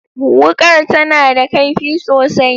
Wukar tana da kaifi sosai.